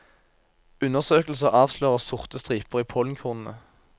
Undersøkelser avslører sorte striper i pollenkornene.